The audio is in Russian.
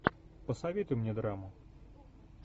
посоветуй мне драму